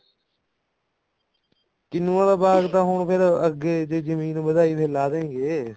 ਕਿੰਨੁਆਂ ਦਾ ਬਾਗ ਫ਼ੇਰ ਹੁਣ ਅੱਗੇ ਜੇ ਜਮੀਨ ਵਧਾਈ ਤੇ ਲਾ ਦੇਂਗੇ